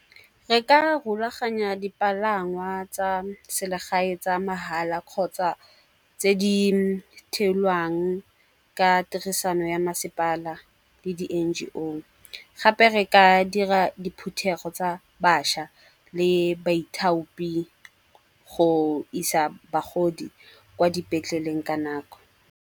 Re ka rulaganya dipalangwa tsa selegae tsa mahala kgotsa tse dithelwang ka tirisano ya masepala le di N_G_O. Gape re ka dira diphuthego tsa bašwa le baithaopi go isa bagodi kwa dipetleleng ka nako.